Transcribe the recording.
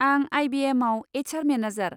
आं आइ बि एमआव एइच आर मेनेजार।